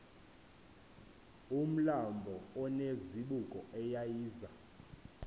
umlambo onezibuko eyayiza